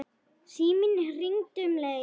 Síminn hringdi um leið.